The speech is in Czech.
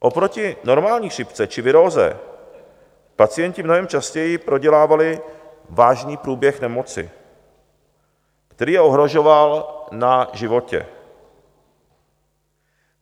Oproti normální chřipce či viróze pacienti mnohem častěji prodělávali vážný průběh nemoci, který je ohrožoval na životě.